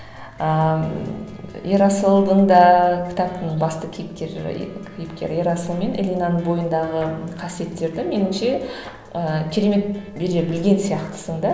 ыыы ерасылдың да кітаптың басты кейіпкері кейіпкер ерасыл мен элинаның бойындағы қасиеттерді меніңше ііі керемет бере білген сияқтысың да